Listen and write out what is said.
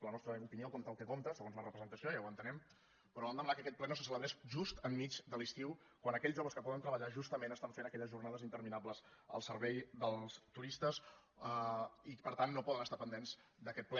la nostra opinió compta el que compta segons la representació ja ho entenem però vam demanar que aquest ple no se celebrés just enmig de l’estiu quan aquells joves que poden treballar justament estan fent aquelles jornades interminables al servei dels turistes i per tant no poden estar pendents d’aquest ple